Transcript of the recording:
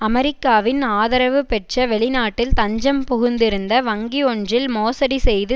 அமெரிக்காவின் ஆதரவு பெற்ற வெளிநாட்டில் தஞ்சம் புகுந்திருந்த வங்கி ஒன்றில் மோசடி செய்து